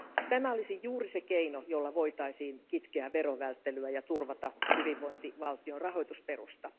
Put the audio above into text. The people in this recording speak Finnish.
Tämä olisi juuri se keino, jolla voitaisiin kitkeä verovälttelyä ja turvata hyvinvointivaltion rahoitusperusta.